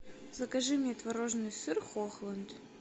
закажи мне творожный сыр хохланд